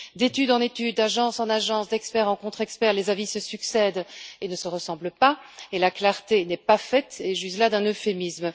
D'étude en étude, d'agence en agence, d'expert en contre expert, les avis se succèdent et ne se ressemblent pas et la clarté n'est pas faite, j'use là d'un euphémisme.